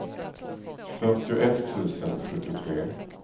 fyrtioett tusen sjuttiotre